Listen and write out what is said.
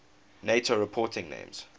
nato reporting names